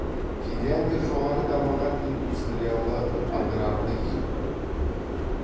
финляндия жоғарғы дамыған индустриялы аграрлы ел